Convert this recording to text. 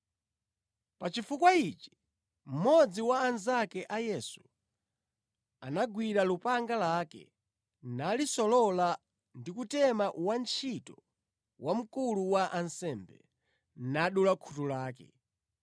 Pa chifukwa ichi, mmodzi wa anzake a Yesu anagwira lupanga lake, nalisolola ndi kutema wantchito wa mkulu wa ansembe, nadula khutu lake.